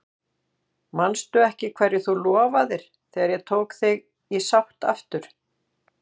Manstu ekki hverju þú lofaðir þegar ég tók þig í sátt aftur?